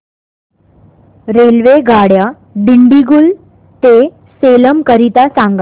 रेल्वेगाड्या दिंडीगुल ते सेलम करीता सांगा